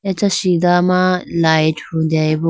acha sidha ma light hudeyibo.